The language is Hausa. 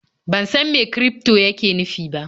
Ban san mai kirifto yake nufi ba.